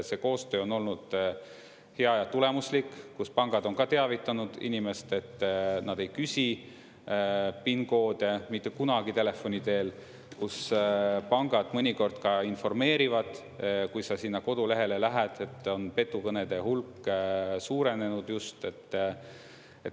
See koostöö on olnud hea ja tulemuslik, kus pangad on ka teavitanud inimest, et nad ei küsi PIN-koode mitte kunagi telefoni teel, kus pangad mõnikord ka informeerivad, kui sa sinna kodulehele lähed, et on petukõnede hulk suurenenud just.